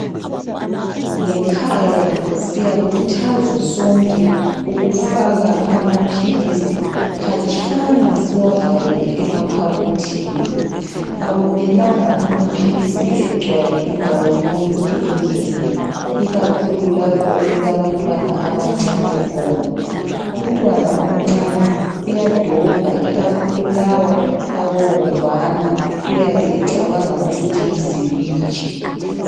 Ngekhaya siyakhuthazwa sonke ukufaka amaphilisi khatshana siwavalele emakhabothini akumelanga amaphilisi egcwale indawo yonke endlini ikakhulu lapho okulabantwana abancane khona umntwana omncane uyadobha ikakhulu lawa abovana uyabecabanga ukuthi yiziwiji.